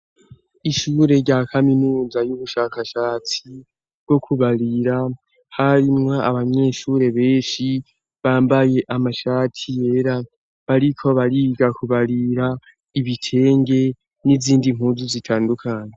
Ishure rya kaminuza y'ubushakashatsi bwo kubarira harimwa abanyeshure benshi bambaye amashati yera bariko barigakubarira ibitenge n'izindi nkuzu zitandukane.